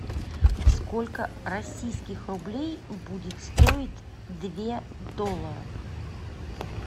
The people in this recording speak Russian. сколько российских рублей будет стоить две долларов